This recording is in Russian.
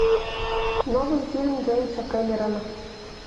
новый фильм джеймса кэмерона